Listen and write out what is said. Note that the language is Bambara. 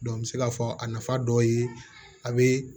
n bɛ se k'a fɔ a nafa dɔ ye a bɛ